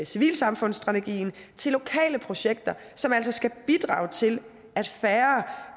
civilsamfundsstrategien til lokale projekter som altså skal bidrage til at færre og